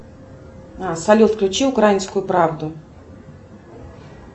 салют включи украинскую правду